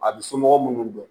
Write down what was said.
A bɛ somɔgɔw minnu dɔn